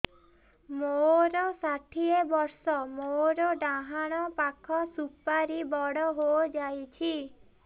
ମୋର ଷାଠିଏ ବର୍ଷ ମୋର ଡାହାଣ ପାଖ ସୁପାରୀ ବଡ ହୈ ଯାଇଛ